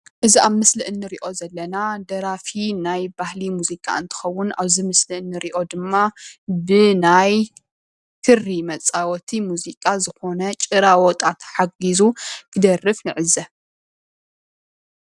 እዚ ኣብ ምስሊ እንርአዮ ዘለና ደራፊ ናይ ባህሊ ሙዚቃ እንትኸውን ኣብዚ ምስሊ እንርእዮ ድማ ብ ናይ ክሪ መፃወቲ ሙዚቃ ዝኮነ ጭራ ዋጣ ተሓጊዙ ክደርፍ እንዕዘብ።